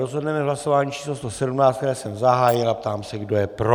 Rozhodneme v hlasování číslo 117, které jsem zahájil, a ptám se, kdo je pro.